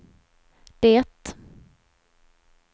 det